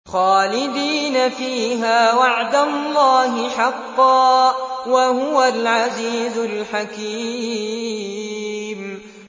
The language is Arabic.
خَالِدِينَ فِيهَا ۖ وَعْدَ اللَّهِ حَقًّا ۚ وَهُوَ الْعَزِيزُ الْحَكِيمُ